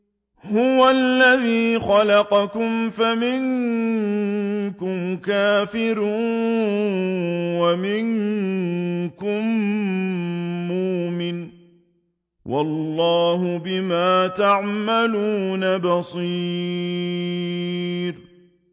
هُوَ الَّذِي خَلَقَكُمْ فَمِنكُمْ كَافِرٌ وَمِنكُم مُّؤْمِنٌ ۚ وَاللَّهُ بِمَا تَعْمَلُونَ بَصِيرٌ